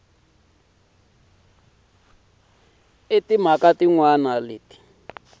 na timhaka tin wana leti